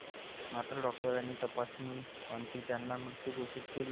मात्र डॉक्टरांनी तपासणी अंती त्यांना मृत घोषित केले.